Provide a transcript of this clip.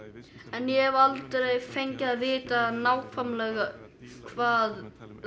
en ég hef aldrei fengið að vita nákvæmlega hvað